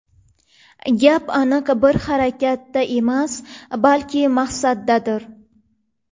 Gap aniq bir harakatda emas, balki maqsaddadir.